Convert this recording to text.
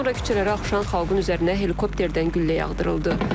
Sonra küçələrə axışan xalqın üzərinə helikopterdən güllə yağdırıldı.